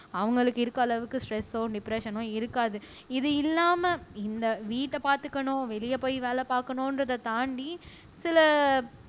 அவங்களுக்கு இருக்க அளவுக்கு ஸ்ட்ரெஸோ டிப்ரஸ்ஸனோ இருக்காது இது இல்லாம இந்த வீட்டை பார்த்துக்கணும் வெளியே போய் வேலை பார்க்கணுன்றதை தாண்டி சில